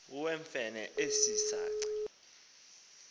iwewfene esi saci